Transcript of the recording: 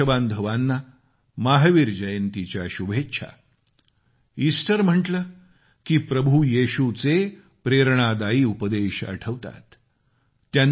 सर्व देशबांधवांना महावीर जयंतीच्या शुभेच्छा ईस्टर म्हटला की प्रभू येशूचे प्रेरणादायी उपदेश आठवतात